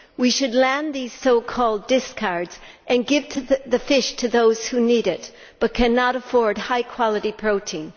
We should land these so called discards' and give the fish to those who need it but cannot afford high quality protein.